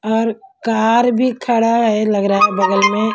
और कार भी खड़ा है लग रहा है बगल में।